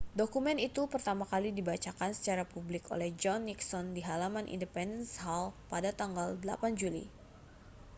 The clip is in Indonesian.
dokumen itu pertama kali dibacakan secara publik oleh john nixon di halaman independence hall pada tanggal 8 juli